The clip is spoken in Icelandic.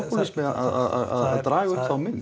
að draga upp þá mynd